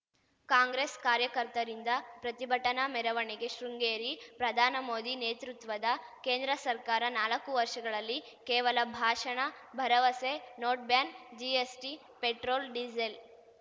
ಕಾಂಗ್ರೆಸ್‌ ಕಾರ್ಯಕರ್ತರಿಂದ ಪ್ರತಿಭಟನಾ ಮೆರವಣಿಗೆ ಶೃಂಗೇರಿ ಪ್ರಧಾನ ಮೋದಿ ನೇತೃತ್ವದ ಕೇಂದ್ರ ಸರ್ಕಾರ ನಾಲಕ್ಕು ವರ್ಷಗಳಲ್ಲಿ ಕೇವಲ ಭಾಷಣ ಭರವಸೆ ನೋಟ್‌ಬ್ಯಾನ್‌ ಜಿಎಸ್‌ಟಿ ಪೆಟ್ರೋಲ್‌ ಡಿಸೇಲ್‌